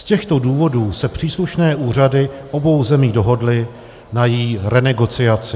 Z těchto důvodů se příslušné úřady obou zemí dohodly na její renegociaci.